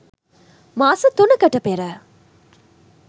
මාස තුනකට පෙර